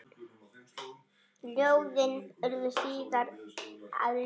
Ljóðin urðu síðar að lögum.